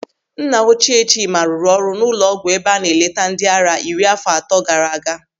Nna ochie Chima rụrụ ọrụ n'ụlọ ọgwụ ebe a na-eleta ndịara iri àfọ atọ gaara aga.